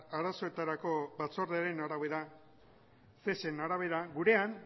arazoetarako batzordearen arabera cesen arabera gurean